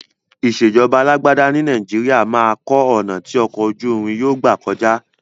Ìṣèjọba alágbádá ní Nàìjíríà máa kọ́ ọ̀nà ti ọkọ̀ ojú irin yóò gbà kọjá.